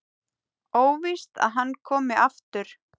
Óvíst að hann komi aftur.